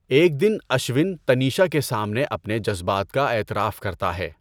ایک دن اشون تنیشا کے سامنے اپنے جذبات کا اعتراف کرتا ہے۔